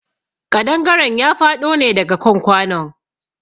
Ƙadangaren ya faɗo ne daga kan kwanon.